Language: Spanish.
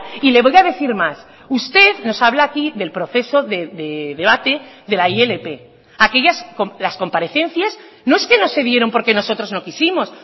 y le voy a decir más usted nos habla aquí del proceso de debate de la ilp aquellas las comparecencias no es que no se dieron porque nosotros no quisimos